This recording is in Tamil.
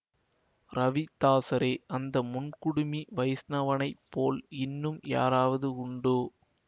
ரவிதாஸரே அந்த முன் குடுமி வைஷ்ணவனை போல் இன்னும் யாராவது உண்டோ